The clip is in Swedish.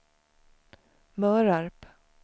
Mörarp